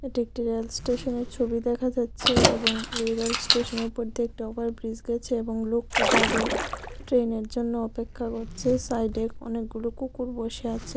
এটি একটি রেল স্টেশনের ছবি দেখা যাচ্ছে এবং এই রেল স্টেশনের ওপর দিয়ে একটা ওভারব্রিজ গেছে এবং লোকটির দাড়িয়ে ট্রেনের জন্য অপেক্ষা করছে সাইডে অনেকগুলো কুকুর বসে আছে।